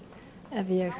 ef ég